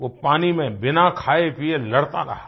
वो पानी में बिना खायेपिये लड़ता रहा